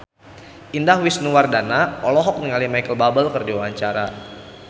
Indah Wisnuwardana olohok ningali Micheal Bubble keur diwawancara